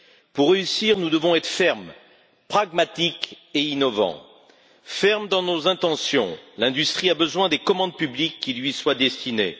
Pour réussir, nous devons être fermes, pragmatiques et innovants. Fermes dans nos intentions l'industrie a besoin de commandes publiques qui lui soient destinées.